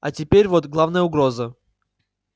а теперь вот главная угроза